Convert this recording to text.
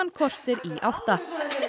kortér í átta